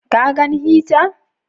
Ka gan hita?